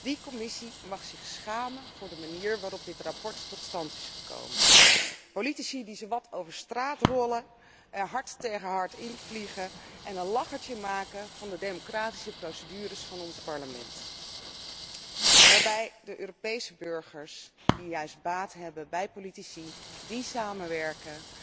Die commissie mag zich schamen voor de manier waarop dit verslag tot stand is gekomen. Politici die zowat over straat rollen, er hard tegen hard invliegen en een lachertje maken van de democratische procedures van ons parlement, waarbij de Europese burgers, die juist baat hebben bij politici die samenwerken,